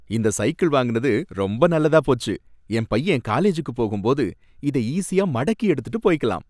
இந்த சைக்கிள் வாங்குனது ரொம்ப நல்லதாப் போச்சு, என் பையன் காலேஜூக்கு போகும்போது இத ஈசியா மடக்கி எடுத்துட்டு போய்க்கலாம்